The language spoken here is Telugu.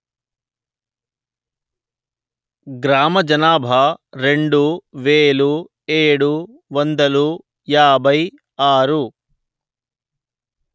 గ్రామ జనాభా రెండు వెలు ఏడు వందలు యాభై ఆరు